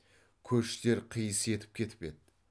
көштер қиыс етіп кетіп еді